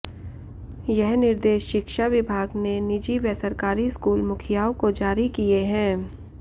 यह निर्देश शिक्षा विभाग ने निजी व सरकारी स्कूल मुखियाओं को जारी किए हैं